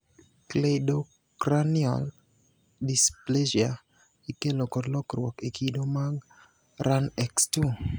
Cleidocranial dysplasia. Ikelo kod lokruok e kido mag RUNX2.